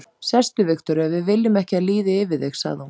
Sestu, Viktoría, við viljum ekki að líði yfir þig, sagði hún.